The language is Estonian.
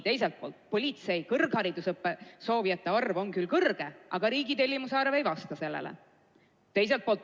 Teiselt poolt on politsei kõrgharidusõppesse soovijate arv küll suur, aga riigitellimus ei vasta sellele.